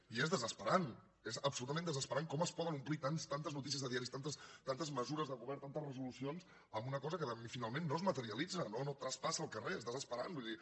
i és desesperant és absolutament desesperant com es poden omplir tantes notícies de diaris tantes mesures de govern tantes resolucions en una cosa que finalment no es materialitza no traspassa al carrer és desesperant vull dir